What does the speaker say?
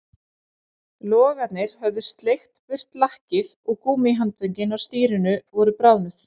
Logarnir höfðu sleikt burt lakkið og gúmmíhandföngin á stýrinu voru bráðnuð